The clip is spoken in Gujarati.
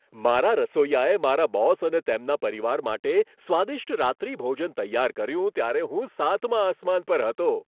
મારા રસોઈયાએ મારા બોસ અને તેમના પરિવાર માટે સ્વાદિષ્ટ રાત્રિભોજન તૈયાર કર્યું ત્યારે હું સાતમા આસમાન પર હતો.